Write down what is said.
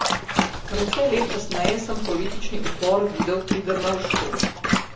Precej let kasneje sem politični upor videl pri Drnovšku.